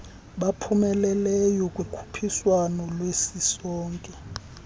baphumeleleyo kukhuphiswano lwesisonke